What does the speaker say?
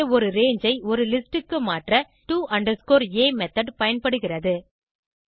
இங்கே ஒரு ரங்கே ஐ ஒரு லிஸ்ட் க்கு மாற்ற to a மெத்தோட் பயன்படுகிறது